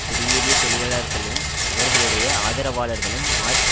குடியேறிய தொழிலாளர்களும் அவர்களுடைய ஆதரவாளர்களும் மார்ச்